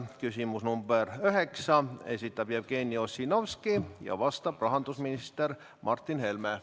See on küsimus number 9, mille esitab Jevgeni Ossinovski ja millele vastab rahandusminister Martin Helme.